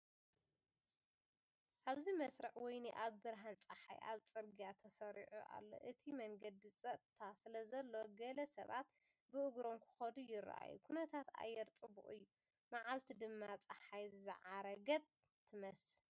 ኣብዚ መስርዕ ወይኒ ኣብ ብርሃን ጸሓይ ኣብ ጽርግያ ተሰሪዑ ኣሎ። እቲ መንገዲ ጸጥታ ስለዘሎ፡ ገለ ሰባት ብእግሮም ክኸዱ ይረኣዩ። ኩነታት ኣየር ጽቡቕ እዩ፣ መዓልቲ ድማ ጸሓይ ዝዓረገት ትመስል።